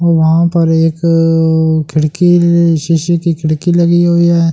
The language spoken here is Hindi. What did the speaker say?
और वहां पर एक अ खिड़की शीशे की खिड़की लगी हुई है।